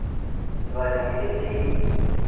वह जंगली थी